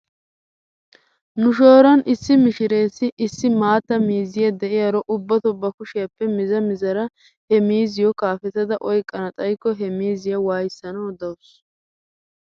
Nu shooron issi mishireessi issi maatta miizza de'iyaaro ubbato bakushiyaappe miza mizara he miizziyoo kaafetada oyqqana xayikko he miiziyaa waayissanaw dawsu.